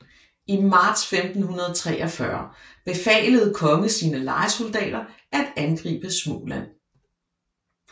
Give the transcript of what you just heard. I marts 1543 befalede kongen sine lejesoldater at angribe Småland